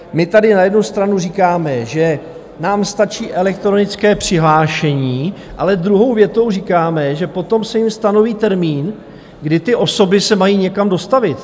My tady na jednu stranu říkáme, že nám stačí elektronické přihlášení, ale druhou větou říkáme, že potom se jim stanoví termín, kdy ty osoby se mají někam dostavit.